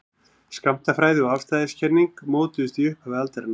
skammtafræði og afstæðiskenning mótuðust í upphafi aldarinnar